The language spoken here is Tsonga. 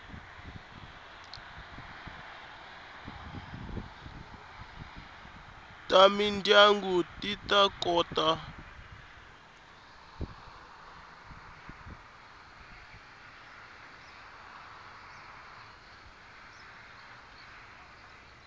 ta mindyangu ti ta kota